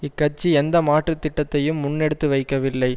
இக்கட்சி எந்த மாற்று திட்டத்தையும் முன்னெடுத்து வைக்கவில்லை